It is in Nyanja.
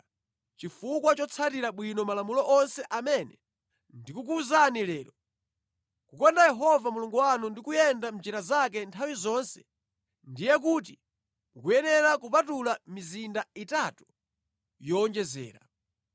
chifukwa chotsatira bwino malamulo onse amene ndikukuwuzani lero, kukonda Yehova Mulungu wanu ndi kuyenda mʼnjira zake nthawi zonse, ndiye kuti mukuyenera kupatula mizinda itatu yowonjezera.